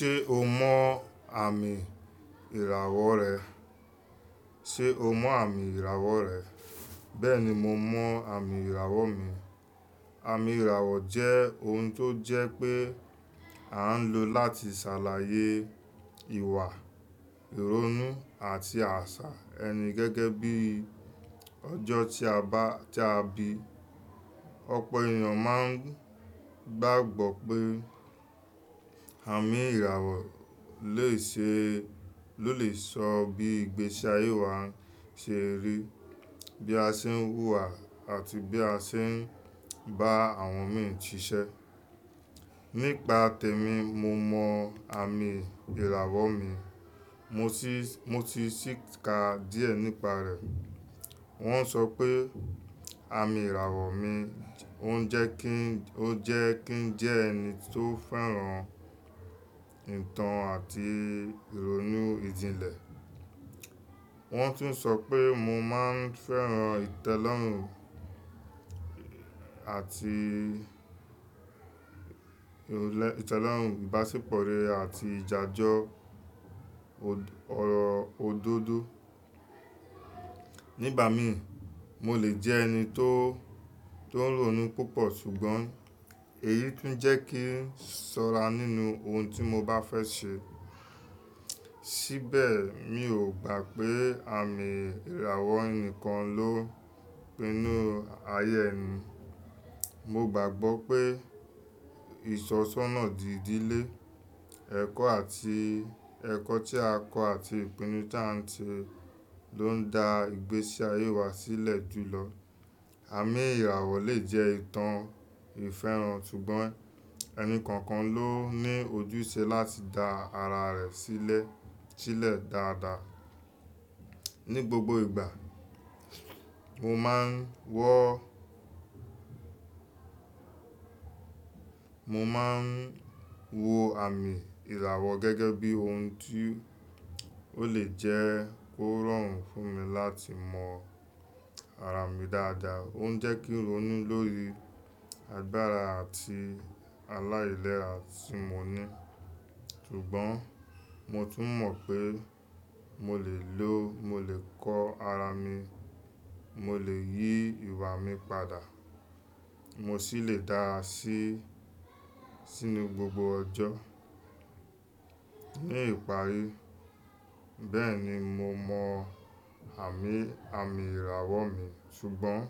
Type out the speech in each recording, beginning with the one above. Ṣé o mọ àmì ìràwọ̀ rẹ? Sé o mọ àmì ìràwọ̀ rẹ? Bẹ́ẹ̀ni mo mọ àmì ìràwọ̀ mi. Àmì ìràwọ̀ jẹ́ oun tó jẹ́ pé à ń lò láti ṣàlàyé ìwà, ìrònú àti àṣà ẹni gẹ́gẹ́ bí ọjọ́ tí a bá, tí a bí. Ọ̀pọ̀ ènìyàn máa ń gbàgbọ́ pé àmì ìràwọ̀ lè ṣe, ló lè sọ bí ìgbésí ayé wa ṣe rí, bí a ṣe ń hùwà àti bí a ṣe ń bá àwọn mi ṣiṣẹ́. Nípa tèmi, mo mọ àmì ìràwọ̀ mi, mo sì, mo sì síká díẹ̀ nípa rẹ̀. Wọ́n ń sọ pé àmì ìràwọ̀ mi ó jẹ́ kí n, ó jẹ́ kí n jẹ́ ẹni tó fẹ́ràn ìtàn àti ìrònú ìdílé. Wọ́n tún sọ pé mo máa ń fẹ́ràn ìtẹ́lọ́rùn àti ìlè, ìtẹ́lọ́rùn ìbáṣepọ̀ rẹ àti ìjà jọ òd-ọ̀dọ́dó. Nígbà mi, mo lè jẹ ẹni tó, tó rònú púpọ̀ ṣùgbọ́n èyí tún jẹ́ kí n ṣọ́ra nínú ohun tí mo bá fẹ́ ṣe. Síbẹ̀, mi ò gbà pé àmì ìràwọ̀ nìkan ló pinnu ayé ẹni. Mo gbàgbọ́ pé ìṣọ̀ṣọ́nà ìdílé, ẹ̀kọ́ àti, ẹ̀kọ́ tí a kọ́ àti ìpinnu tí à ń ṣe ló ń dá ìgbésí ayé wa sílẹ̀ jù lọ. Àmì ìràwọ̀ lè jẹ́ ìtàn ìfẹ́ràn ṣùgbọ́n ẹni kọ̀ọ̀kan ló ní ojúṣe láti dá ara rẹ̀ sílẹ̀, sílẹ̀ dáadáa. Ní gbogbo ìgbà, mo máa ń wọ, mo máa ń wo àmì ìràwọ̀ gẹ́gẹ́ bí ohun tí ó lè jẹ́ kó rọrùn fún mi láti mọ ara mi dáadáa. Ó ń jẹ́ kí n rònú lórí agbára àti aláìlẹ́à tí mo ní. Ṣùgbọ́n mo tún mọ̀ pé mo lè lo, mo lè kọ ara mi, mo lè yí ìwà mi padà, mo sì lè dáa sí, sínú gbogbo ọjọ́. Ní ìparí, bẹ́ẹ̀ni mo mọ àmì, àmì ìràwọ̀ mi ṣùgbọ́n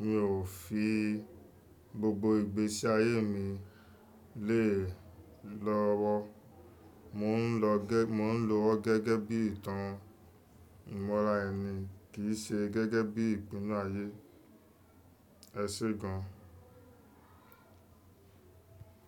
mi ò fi gbogbo ìgbésí ayé mi lè e lọ́wọ́. Mò ń lò ó gẹ́, mò ń lò ó gẹ́gẹ́ bí ìtàn ìmọ̀lá ẹni kì í ṣe gẹ́gẹ́ bí ìpinnu ayé. Ẹ ṣé gan.